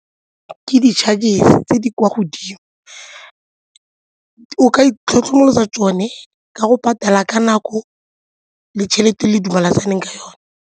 Ke di-chargers tse di kwa godimo, o ka itlhokomolosa tsone ka go patala ka nako le tšhelete e le dumalaneng ka yone.